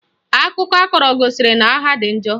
Akụkọ ọ kọrọ gosiri na agha dị njọ